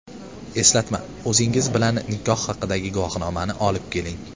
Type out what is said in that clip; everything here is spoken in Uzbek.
Eslatma: O‘zingiz bilan nikoh haqidagi guvohnomani olib keling.